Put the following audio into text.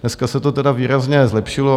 Dneska se to teda výrazně zlepšilo.